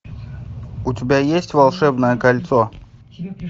у тебя есть волшебное кольцо